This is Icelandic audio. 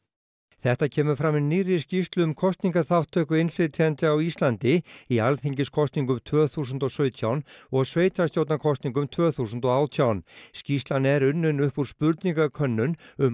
þetta kemur fram í nýrri skýrslu um kosningaþátttöku innflytjenda á Íslandi í alþingiskosningum tvö þúsund og sautján og sveitarstjórnarkosningum tvö þúsund og átján skýrslan er unnin upp úr spurningakönnun um